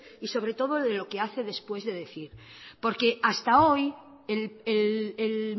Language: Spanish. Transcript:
y sobre todo de lo que hace después de decir porque hasta hoy el